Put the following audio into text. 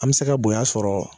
An bɛ se ka bonya sɔrɔ